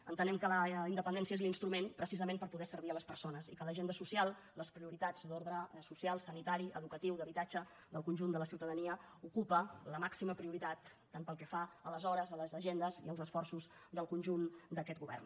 entenem que la independència és l’instrument precisament per poder servir les persones i que a l’agenda social les prioritats d’ordre social sanitari educatiu d’habitatge del conjunt de la ciutadania ocupen la màxima prioritat tant pel que fa a les hores a les agendes i als esforços del conjunt d’aquest govern